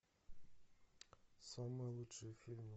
самые лучшие фильмы